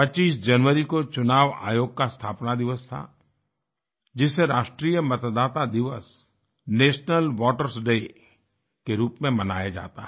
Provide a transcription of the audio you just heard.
25 जनवरी को चुनाव आयोग का स्थापना दिवस था जिसे राष्ट्रीय मतदाता दिवस नेशनल votersडे के रूप में मनाया जाता है